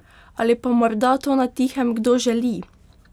Ali pa morda to na tihem kdo želi?